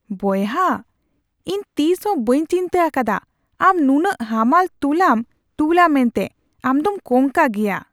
ᱵᱚᱭᱦᱟ ! ᱤᱧ ᱛᱤᱥ ᱦᱚᱸ ᱵᱟᱹᱧ ᱪᱤᱱᱛᱟᱹ ᱟᱠᱟᱫᱟ ᱟᱢ ᱱᱩᱱᱟᱹᱜ ᱦᱟᱢᱟᱞ ᱛᱩᱞᱟᱹᱢ ᱛᱩᱞᱼᱟ ᱢᱮᱱᱛᱮ, ᱟᱢ ᱫᱚᱢ ᱠᱚᱝᱠᱟ ᱜᱮᱭᱟ !!